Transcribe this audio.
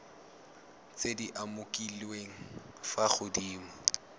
tse di umakiliweng fa godimo